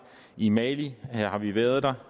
i mali har vi været